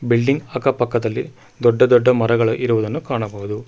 Building ಅಕ್ಕ ಪಕ್ಕದಲ್ಲಿ ದೊಡ್ಡ ದೊಡ್ಡ ಮರಗಳು ಇರುವುದನ್ನು ಕಾಣಬಹುದು.